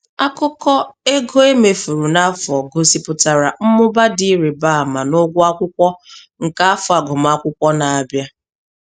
Akụkọ ego emefuru n'afọ gosipụtara mmụba dị ịrịba ama n'ụgwọ akwụkwọ nke afọ agụmakwụkwọ na-abịa.